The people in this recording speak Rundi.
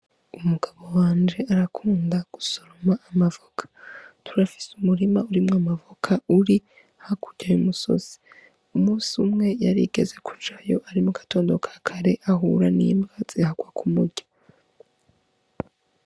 Umugabo wanje arakunda gusoroma amavoka turafise umurima urimwo amavoka uri hakuryaye umusozi umusi umwe yarigeze kucayo ari mu gatondoka kare ahura n'imbwa ziharwa ku murya.